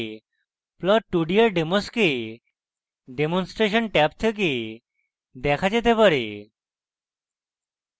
plot2d এর demos demonstration tab থেকে দেখা যেতে পারে